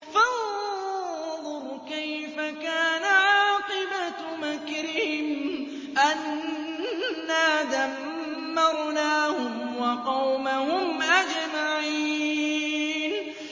فَانظُرْ كَيْفَ كَانَ عَاقِبَةُ مَكْرِهِمْ أَنَّا دَمَّرْنَاهُمْ وَقَوْمَهُمْ أَجْمَعِينَ